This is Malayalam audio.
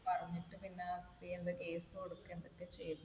പറഞ്ഞിട്ട് പിന്നെ കുട്ടി എന്തോ case കൊടുക്കുകയോ എന്തൊക്കെയോ